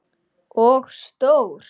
Og stór.